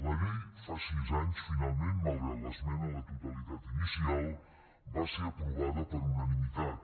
la llei fa sis anys finalment malgrat l’esmena a la totalitat i inicial va ser aprovada per unanimitat